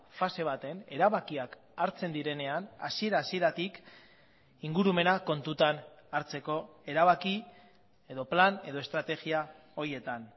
fase baten erabakiak hartzen direnean hasiera hasieratik ingurumena kontutan hartzeko erabaki edo plan edo estrategia horietan